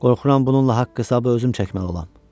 Qorxuram bununla haqq-hesabı özüm çəkməli olam.